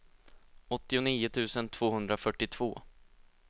åttionio tusen tvåhundrafyrtiotvå